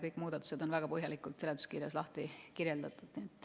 Kõik muudatused on seletuskirjas väga põhjalikult lahti kirjutatud.